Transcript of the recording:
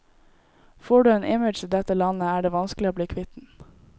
Får du en image i dette landet, er det vanskelig å bli kvitt den.